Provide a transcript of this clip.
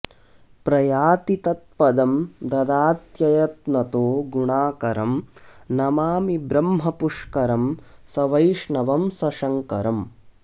प्रयाति तत्पदं ददात्ययत्नतो गुणाकरं नमामि ब्रह्मपुष्करं सवैष्णवं सशङ्करम्